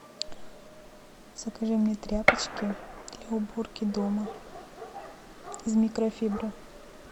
закажи мне тряпочки для уборки дома из микрофибры